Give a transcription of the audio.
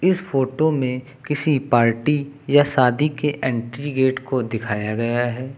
इस फोटो में किसी पार्टी या शादी के एंट्री गेट को दिखाया गया है।